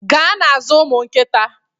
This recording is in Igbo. Gaa na-azụ ụmụ nkịta